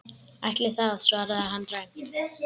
Ætli það, svaraði hann dræmt.